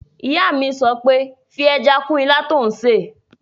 Ìyá mi sọ pé 'fi ẹja kún ilá tó n ṣè!